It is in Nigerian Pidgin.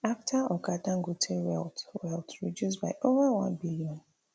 afta oga dangote wealth wealth reduce by ova one billion